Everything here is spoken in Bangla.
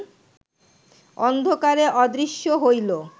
অন্ধকারে অদৃশ্য হইল